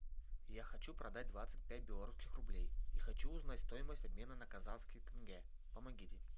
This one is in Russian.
я хочу продать двадцать пять белорусских рублей и хочу узнать стоимость обмена на казахские тенге помогите